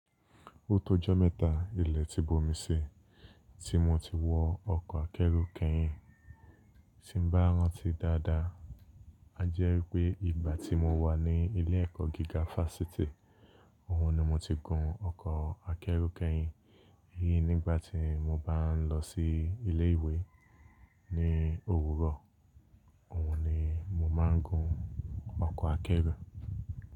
O tó ọjọ́ mẹ́ta ilẹ̀ ti bomi si, tí mo ti wọ ọkọ̀ akẹ́rù kẹ́yìn. Tí n bá rántí dáadáa, a jẹ́ wípé ìgbà tí mo wà ní ilé ẹ̀kọ́ gíga fásitì, òhun ni mo ti gun ọkọ̀ akẹ́rù kẹ́yìn. Eyín nígbà tí mo bá ń lọ sí ilé ìwé ní Òwúrọ̀, òhun ni mo máa ń gun ọkọ̀ akẹ́rù.